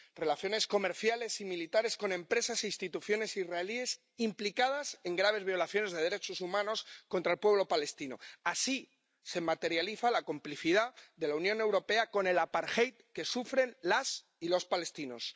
Relaciones comerciales y militares con empresas e instituciones israelíes implicadas en graves violaciones de derechos humanos contra el pueblo palestino así se materializa la complicidad de la Unión Europea con el que sufren las y los palestinos.